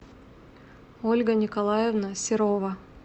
ольга николаевна серова